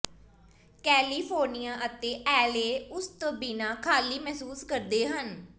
California ਅਤੇ LA ਉਸ ਤੋਂ ਬਿਨਾਂ ਖਾਲੀ ਮਹਿਸੂਸ ਕਰਦੇ ਹਨ